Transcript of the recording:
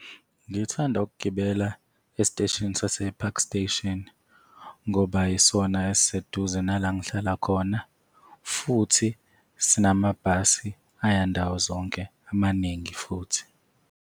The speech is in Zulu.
Ngithanda ukugibela esiteshini sase-Park Station ngoba yisona esiseduze nala ngihlala khona futhi sinamabhasi aya ndawo zonke, amaningi futhi.